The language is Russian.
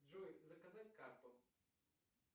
джой заказать карту